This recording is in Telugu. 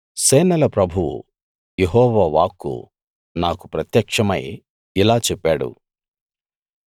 సేనల ప్రభువు యెహోవా వాక్కు నాకు ప్రత్యక్షమై ఇలా చెప్పాడు